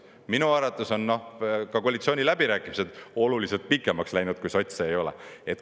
Minu arvates on ka koalitsiooniläbirääkimised oluliselt pikemaks läinud, kui sotse ei ole.